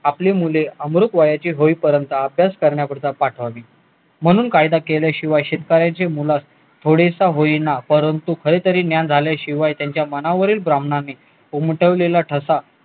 आपली मुले अमृत वयाची होईपर्यँत अभ्यास करण्याकरिता पाठवावी म्हणून कायदा केल्याशिवाय शेतकऱ्याच्या मुलास थोडेसे होईना परंतु कधी तरी ज्ञान झाल्याशिवाय त्यांच्या मनावरील ब्राह्मणाने उमटवलेला ठसा